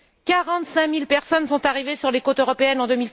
Quarante cinq mille personnes sont arrivées sur les côtes européennes en